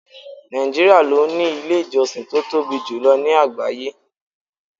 Nàìjíríà ló ní ilé ìjọsìn tó tóbi jù lọ ní àgbáyé.